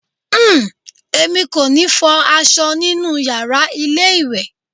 Uhm, èmi kò ní fọ aṣọ nínú yàrá ilé ìwẹ̀.